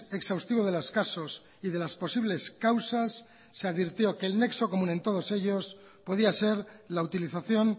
exhaustivo de los casos y de las posibles causas se advirtió que el nexo común en todos ellos podía ser la utilización